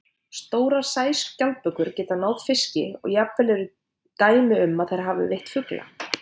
Stórar sæskjaldbökur geta náð fiski og jafnvel eru dæmi um að þær hafi veitt fugla.